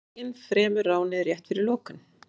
Ræninginn fremur ránið rétt fyrir lokun